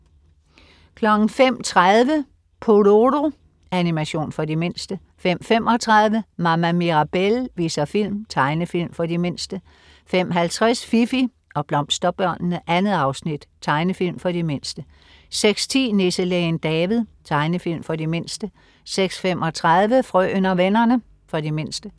05.30 Pororo. Animation for de mindste 05.35 Mama Mirabelle viser film. Tegnefilm for de mindste 05.50 Fifi og Blomsterbørnene. 2 afsnit. Tegnefilm for de mindste 06.10 Nisselægen David. Tegnefilm for de mindste 06.35 Frøen og vennerne. For de mindste